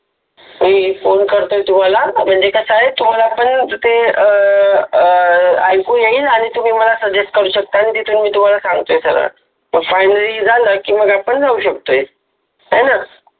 मी phone करतो तुम्हाला म्हणजे कसा आहे तुम्हाला पण ते ऐकू येईल आणि तुम्ही मला सजेस्ट करू शकता आणि मी तुम्हाला तिथून सांगतो सगळं फायनल झालं की मग आपण जाऊ शकतो हाय ना